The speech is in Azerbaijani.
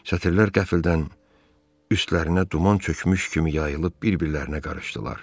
Sətirlər qəfildən üstlərinə duman çökmüş kimi yayılıb bir-birlərinə qarışdılar.